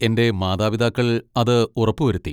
എന്റെ മാതാപിതാക്കൾ അത് ഉറപ്പുവരുത്തി.